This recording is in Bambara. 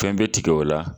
Fɛn bɛ tigɛ o la